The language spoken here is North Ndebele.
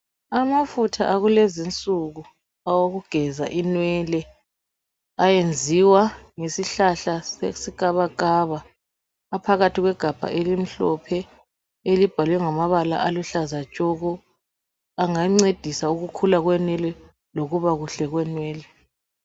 Amafutha akulezi insuku awokugeza imwele esenziwa ngesihlahla ikabakaba aphakathi kwegabha elimhophe elibhalwe ngamabala aluhlaza tshoko angancedisa ukukhula kwenwele lokuba kuhle kwenwele .